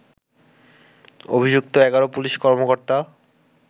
অভিযুক্ত ১১ পুলিশ কর্মকর্তা